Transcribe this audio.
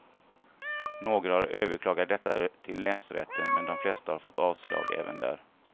Några har överklagat detta till länsrätten, men de flesta har fått avslag även där.